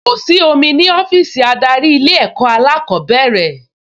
Kò sí omi ní ọ́fíìsì adarí Ilé-ẹ̀kọ́ alákọ̀ọ́bẹ̀rẹ̀